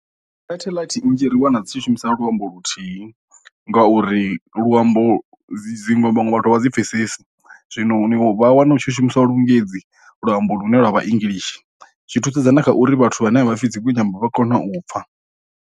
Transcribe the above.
Sateḽite nnzhi ri wana dzi tshi shumisa luambo luthihi ngauri luambo dzi ṅwe vhaṅwe vhathu a vha dzi pfesesi, zwino vha wana hu tshi shumiswa lungezi luambo lune lwavha english, zwi thusedza na kha uri vhathu vhane vha pfi dzinwe nyambo vha kona u pfha.